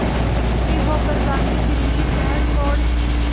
दुखी होकर गांधी दिल्ली शहर छोड़